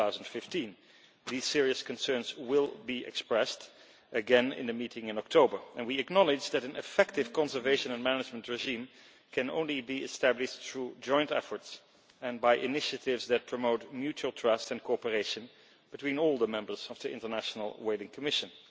2015. These serious concerns will be expressed again in a meeting in October and we acknowledge that an effective conservation and management regime can only be established through joint efforts and by initiatives that promote mutual trust and cooperation between all the members of the International Whaling Commission.